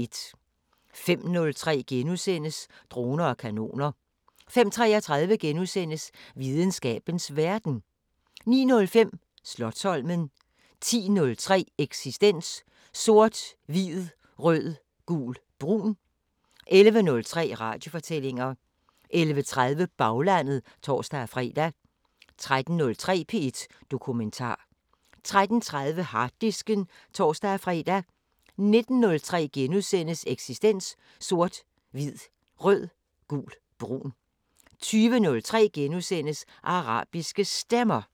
05:03: Droner og kanoner * 05:33: Videnskabens Verden * 09:05: Slotsholmen 10:03: Eksistens: Sort, hvid, rød, gul, brun 11:03: Radiofortællinger 11:30: Baglandet (tor-fre) 13:03: P1 Dokumentar 13:30: Harddisken (tor-fre) 19:03: Eksistens: Sort, hvid, rød, gul, brun * 20:03: Arabiske Stemmer *